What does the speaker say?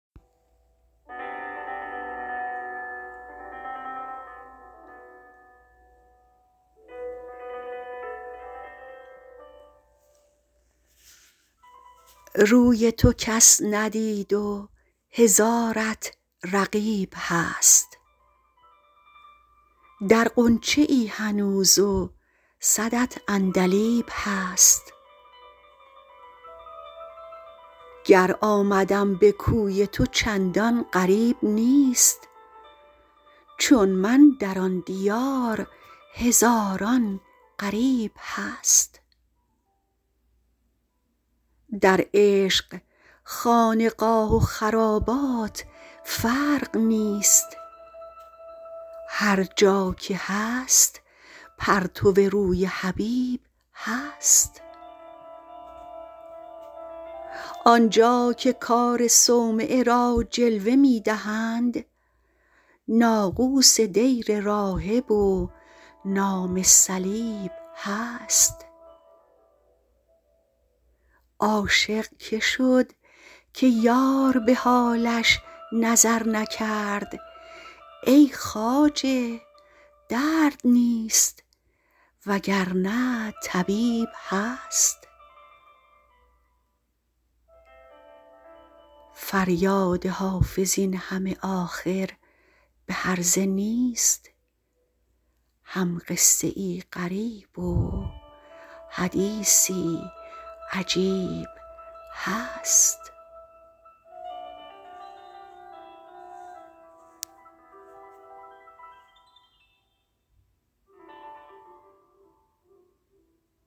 روی تو کس ندید و هزارت رقیب هست در غنچه ای هنوز و صدت عندلیب هست گر آمدم به کوی تو چندان غریب نیست چون من در آن دیار هزاران غریب هست در عشق خانقاه و خرابات فرق نیست هر جا که هست پرتو روی حبیب هست آن جا که کار صومعه را جلوه می دهند ناقوس دیر راهب و نام صلیب هست عاشق که شد که یار به حالش نظر نکرد ای خواجه درد نیست وگرنه طبیب هست فریاد حافظ این همه آخر به هرزه نیست هم قصه ای غریب و حدیثی عجیب هست